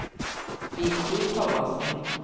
Viggo Thomassen